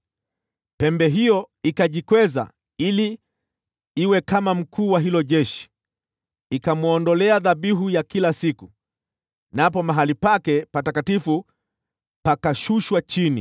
Pembe hiyo ikajikweza ili iwe kama Mkuu wa hilo jeshi; ikamwondolea dhabihu ya kila siku, napo mahali pake patakatifu pakashushwa chini.